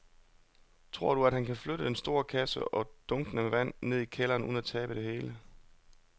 Tror du, at han kan flytte den store kasse og dunkene med vand ned i kælderen uden at tabe det hele?